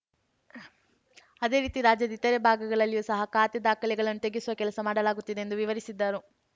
ಅದೇ ರೀತಿ ರಾಜ್ಯದ ಇತರೆ ಭಾಗಗಳಲ್ಲಿಯೂ ಸಹ ಖಾತೆ ದಾಖಲೆಗಳನ್ನು ತೆಗೆಸುವ ಕೆಲಸ ಮಾಡಲಾಗುತ್ತಿದೆ ಎಂದು ವಿವರಿಸಿದರು